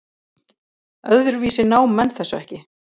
Öðruvísi ná menn þessu ekki.